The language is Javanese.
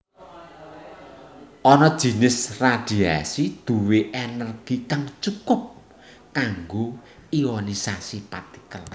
Ana jinis radiasi duwé energi kang cukup kanggo ionisasi partikel